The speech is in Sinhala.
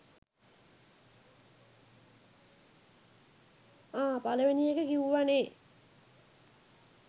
ආ! පලවෙනි ඒක කිවුව නේ?